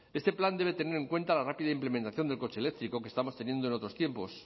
este plan debe tener en cuenta la rápida implementación del coche eléctrico que estábamos teniendo en otros tiempos